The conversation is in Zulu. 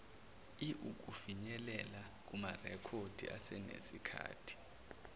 iiukufinyelela kumarekhodi asenesikhathi